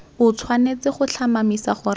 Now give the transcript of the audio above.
o tshwanetse go tlhomamisa gore